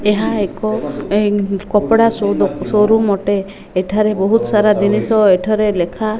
ଏହା ଏକ କପଡା ସୋ ଦୋ ଶୋରୁମ୍ ଅଟେ ଏଠାରେ ବହୁତ୍ ସାରା ଜିନିଷ ଏଠାରେ ଲେଖା --